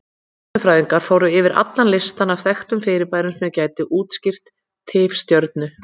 Stjörnufræðingar fóru yfir allan listann af þekktum fyrirbærum sem gætu útskýrt tifstjörnur.